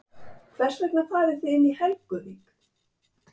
Hvers vegna farið þið inn í Helguvík?